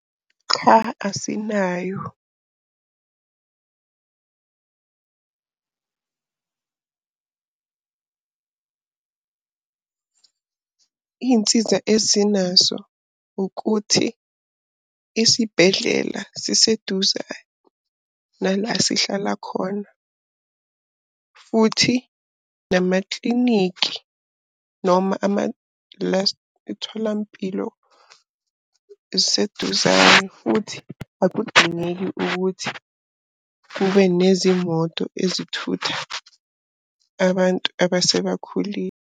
Cha, asinayo. Iy'nsiza ezinaso ukuthi isibhedlela siseduza nala sihlala khona, futhi namakliniki noma iy'tholampilo ziseduzane futhi akudingeki ukuthi kube nezimoto ezithutha abantu abasebakhulile.